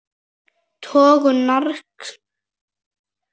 Tökum norskan lax sem dæmi.